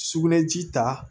Sugunɛ ji ta